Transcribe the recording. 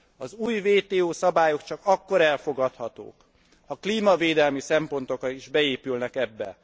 Az új WTO szabályok csak akkor elfogadhatók, ha klímavédelmi szempontok is beépülnek ebbe.